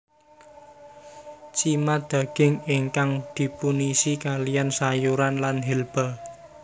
Cima daging ingkang dipunisi kaliyan sayuran lan herba